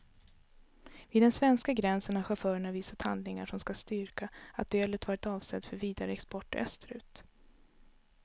Vid den svenska gränsen har chaufförerna visat handlingar som ska styrka att ölet varit avsett för vidare export österut.